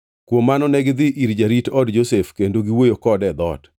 Kuom mano negidhi ir jarit od Josef kendo giwuoyo kode e dhoot.